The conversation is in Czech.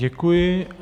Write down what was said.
Děkuji.